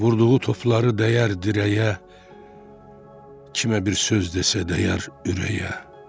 Vurduğu topları dəyər dirəyə, kimə bir söz desə dəyər ürəyə.